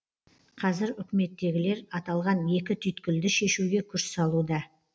қазір үкіметтегілер аталған екі түйткілді шешуге күш салуда